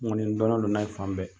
N kɔni, n dɔnnen don n'a ye fan bɛɛ.